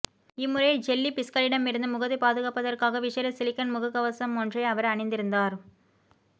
இம்முறை ஜெல்லி பிஷ்களிடமிருந்து முகத்தை பாதுகாப்பதற்காக விசேட சிலிக்கன் முகக்கவசமொன்றை அவர் அணிந்திருந்தார்